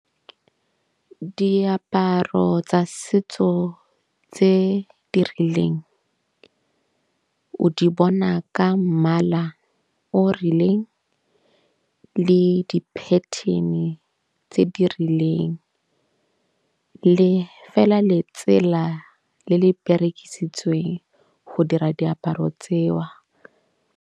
Diaparo tsa setso tse di rileng o di bona ka mmala o rileng le di-pattern-e tse di rileng. Le fela letsela le le berekisitsweng go dira diaparo tseo.